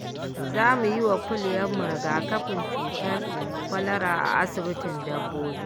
Za mu yi wa kuliyarmu rigakafin cutar kwalara a asibitin dabbobi.